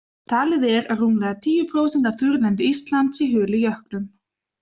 Talið er að rúmlega tíu prósent af þurrlendi Íslands sé hulið jöklum.